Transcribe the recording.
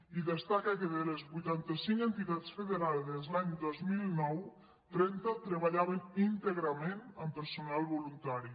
i destaca que de les vuitanta cinc entitats federades l’any dos mil nou trenta treballaven íntegrament amb personal voluntari